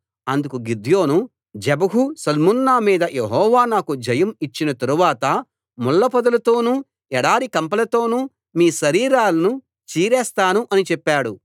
అందుకు గిద్యోను జెబహు సల్మున్నా మీద యెహోవా నాకు జయం ఇచ్చిన తరువాత ముళ్ళపొదలతోను ఎడారి కంపలతోను మీ శరీరాలను చీరేస్తాను అని చెప్పాడు